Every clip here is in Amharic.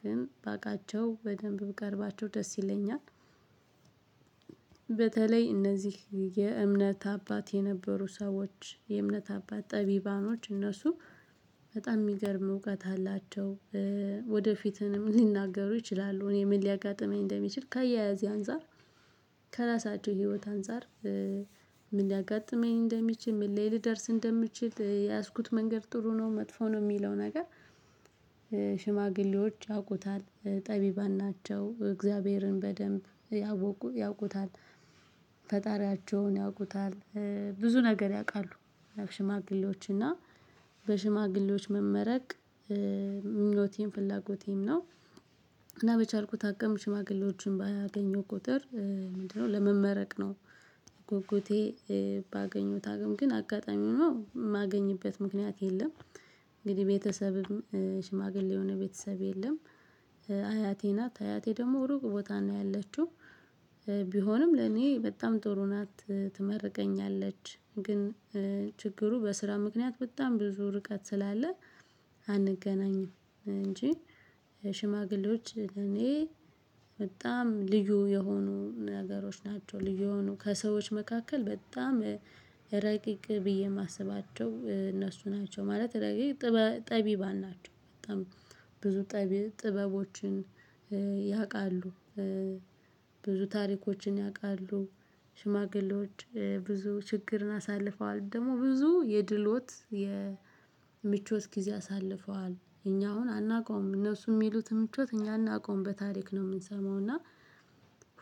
ግን ባቃቸው በደንብ ብቀርባቸው ደስ ይለኛል። በተለይ እነዚህ የእምነት አባት የነበሩ ሰዎች የእምነት አባት ጠቢባኖች እነሱ በጣም የሚገርም እውቀት አላቸው። ወደፊትም ሊናገሩ ይችላሉ እኔ ምን ሊያጋጥመኝ እንደሚችል ከያያዜ አንፃር። ከራሳቸው ህይወት አንፃር። ምን ሊያጋጥመኝ እንደሚችል ምን ላይ ልደርስ እንደምችል የያዝኩት መንገድ ጥሩ ነው መጥፎ ነው የሚለው ነገር። ሽማግሌዎች ያውቁታል ጠቢባን ናቸው እግዚአብሔርን በደንብ ያውቁታል። ፈጣሪያቸውን ያውቁታል። ብዙ ነገር ያውቃሉ። ሽማግሌዎች እና በሽማግሌዎች መመረቅ ምኝቴም ፍላጎቴም ነው። እና በቻልኩ አቅም ሽማግሌዎችን ባገኘው ቁጥር ምንድነው? ለመመረቅ ነው ጉጉቴ ባገኘሁት አቅም ግን አጋጣሚ ሆኖ ማገኝበት ምክንያት የለም። እንግዲህ ቤተሰብም ሽማግሌ የሆነ ቤተሰብ የለም። አያቴ ናት አያቴ ደግሞ ሩቅ ቦታ ነው ያለችው። ቢሆንም ለኔ በጣም ጥሩ ናት ትመርቀኛለች ግን ችግሩ በስራ ምክንያት በጣም ብዙ ርቀት ስላለ። አንገናኝም እንጂ እኔ በጣም ልዩ የሆኑ ነገሮች ናቸው ልዩ የሆኑ ከሰዎች መካከል በጣም ረቂቅ ብዬ የማስባቸው እነሱ ናቸው። ማለት ረቂቅ ጠቢባን ናቸው። በጣም ብዙ ጠቢብ ጥበቦችን ያውቃሉ። ታሪኮችን ያውቃሉ። ሽማግሌዎች ብዙ ችግርን አሳልፈዋል ደግሞ ብዙ የድሎት የምቾት ጊዜ አሳልፈዋል እኛ አሁን አናውቀውም እነሱ የሚሉት ምቾት እኛ እናውቀውም በታሪክ ነው የምንሰማው። እና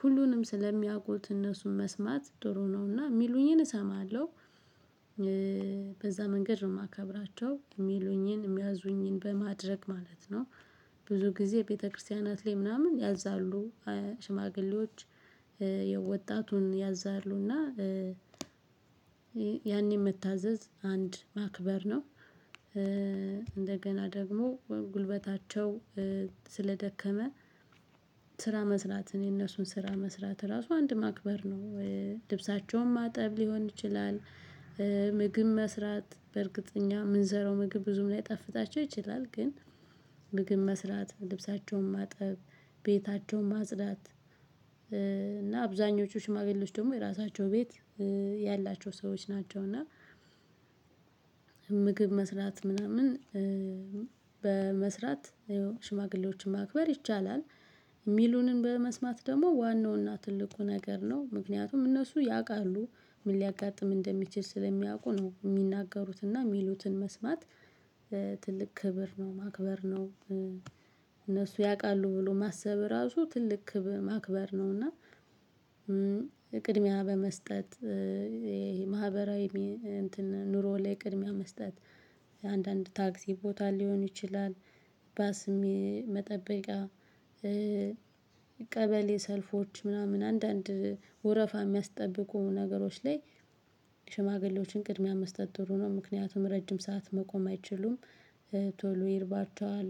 ሁሉንም ስለሚያውቁት እነሱን መስማት ጥሩ ነውና የሚሉኝን እሰማለሁ። በዛ መንገድ ነው የማከብራቸው የሚሉኝን የሚያዙኝን በማድረግ ማለት ነው። ብዙ ጊዜ ቤተክርስቲያናት ላይ ምናምን ያዛሉ። ሽማግሌዎች የወጣቱን ያዛሉና ያኔ መታዘዝ አንድ ማክበር ነው። እንደገና ደግሞ ጉልበታቸው ስለደከመ ስራ መስራት እኔ እነሱን ስራ መስራት ራሱ አንድ ማክበር ነው። ልብሳቸውን ማጠብ ሊሆን ይችላል። ምግብ መስራት በእርግጠኛ የምንሰራው ምግብ ብዙም ላይጣፍጣቸው ይችላል ግን ምግብ መስራት ልብሳቸውን ማጠብ ቤታቸውን ማጽዳት። እና አብዛኞቹ ሽማግሌዎች ደግሞ የራሳቸው ቤት ያላቸው ሰዎች ናቸው። እና ምግብ መስራት ምናምን በመስራት ሽማግሌዎችን ማክበር ይቻላል። ሚሉንን በመስማት ደግሞ ዋናውና ትልቁ ነገር ነው ምክንያቱም እነሱ ያውቃሉ። ምን ሊያጋጥም እንደሚችል ስለሚያውቁ ነው የሚናገሩትና የሚሉትን መስማት። ትልቅ ክብር ነው ማክበር ነው። እነሱ ያውቃሉ ብሎ ማሰብ ራሱ ትልቅ ማክበር ነው። እና ቅድሚያ በመስጠት ይሄ ማህበራዊ እንትን ኑሮ ላይ ቅድሚያ መስጠት አንዳንድ ታክሲ ቦታ ሊሆን ይችላል። ባስ መጠበቂያ ቀበሌ ሰልፎች ምናምን አንዳንድ ወረፋ የሚያስጠብቁ ነገሮች ላይ። ሽማግሌዎችን ቅድሚያ መስጠት ትሩ ነው ምክንያቱም ረጅም ሰዓት መቆም አይችሉም። ቶሎ ይርባቸዋል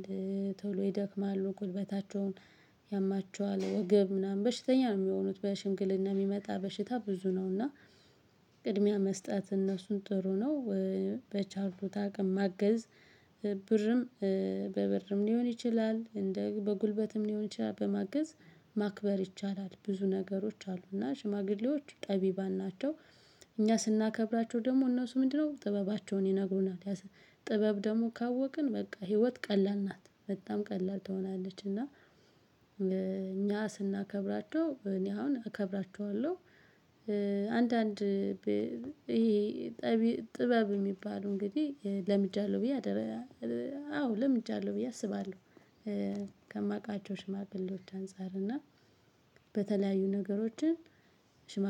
ቶሎ ይደክማሉ ጉልበታቸውን ያማቸዋል ወገብ ምናምን በሽተኛ ነው የሚሆኑት በሽምግልና የሚመጣ በሽታ ብዙ ነው። እና ቅድሚያ መስጠት እነሱን ጥሩ ነው። በቻልሁት አቅም ማገዝ ብርም በብርም ሊሆን ይችላል እንደ በጉልበትም ሊሆን ይችላል በማገዝ ማክበር ይቻላል ብዙ ነገሮች አሉና ሽማግሌዎች ጠቢባን ናቸው። እኛ ስናከብራቸው ደግሞ እነሱ ምንድነው ጥበባቸውን ይነግሩናል። ጥበብ ደግሞ ካወቅን በቃ ህይወት ቀላል ናት በጣም ቀላል ትሆናለች። እና እኛ ስናከብራቸው እኔ አሁን እከብራቸዋለሁ። አንዳንድ ይሄ ጥበብ የሚባሉ እንግዲህ ለምጃለሁ ብዬ አዎ ለምጃለሁ ብዬ አስባለሁ። ከማውቃቸው ሽማግሌዎች አንፃር እና በተለያዩ ነገሮችን